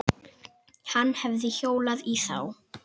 Hann hefði hjólað í þá.